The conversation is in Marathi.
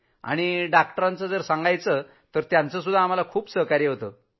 आणि डॉक्टरांपुरतं सांगायचं तर त्यांचं सहकार्य खूप होतं